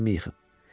Evimi yıxıb.